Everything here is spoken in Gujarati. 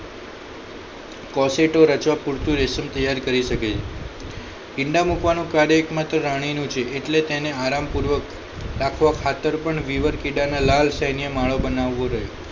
કોશેટો રચવા પુરતું જ રેસમ તૈયાર કરી શકે છે ઇંડા મુકવાનું કાર્ય એક માત્ર રાનીનું છે એટલે તેને આરામપૂર્વક રાખવા ખાતર પણ વિવર કીડાના લાલ સૈન્ય માળો બનાવવો રહયો